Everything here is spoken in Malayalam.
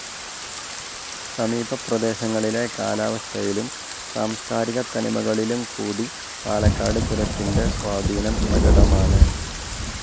സമീപപ്രദേശങ്ങളിലെ കാലാവസ്ഥയിലും സാംസ്ക്കാരികത്തനിമകളിലും കൂടി പാലക്കാട് ചുരത്തിൻ്റെ സ്വാധീനം പ്രകടമാണ്.